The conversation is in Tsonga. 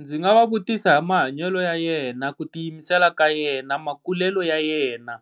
Ndzi nga va vutisa hi mahanyelo ya yena, ku tiyimisela ka yena, makulelo ya yena